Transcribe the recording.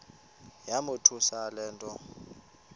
yamothusa le nto